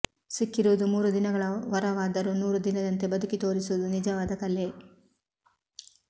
ಸಿಕ್ಕಿರುವುದು ಮೂರು ದಿನಗಳ ವರವಾದರೂ ನೂರು ದಿನದಂತೆ ಬದುಕಿ ತೋರಿಸುವುದು ನಿಜವಾದಕಲೆ